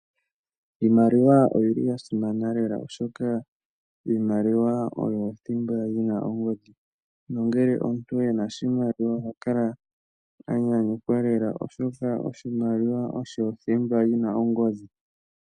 Iimaliwa oyili ya simana lela oshoka iimaliwa oyo thimba yina ongodhi nongele omuntu ena oshimaliwa ohakala anyanyukwa lela oshoka oshimaliwa osho thimba yina ongodhi.